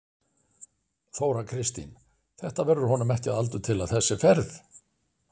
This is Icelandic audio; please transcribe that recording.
Þóra Kristín: Þetta verður honum ekki að aldurtila þessi ferð?